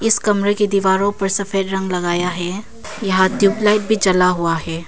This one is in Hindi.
इस कमरे की दीवारों पर सफेद रंग लगाया है यहां ट्यूबलाइट भी जला हुआ है।